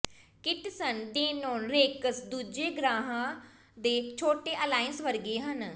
ਕਿਟਸਨ Denon Rex ਦੂਜੇ ਗ੍ਰਹਿਆਂ ਦੇ ਛੋਟੇ ਅਲਾਇੰਸ ਵਰਗੇ ਹਨ